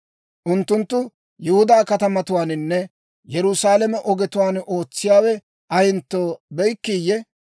Unttunttu Yihudaa katamatuwaaninne Yerusaalame ogetuwaan ootsiyaawe ayentto be'ikkiiyye?